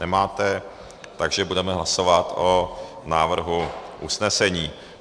Nemáte, takže budeme hlasovat o návrhu usnesení.